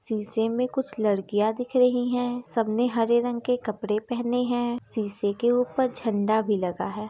शीशे में कुछ लड़कियां दिख रही है सबने हरे रंग के कपड़े पहने है शीशे के ऊपर झंडा भी लगा है।